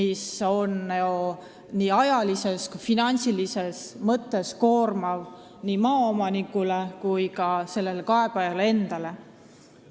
See on siiski ajalises ja finantsilises mõttes koormav nii maaomanikule kui ka kaebajale endale.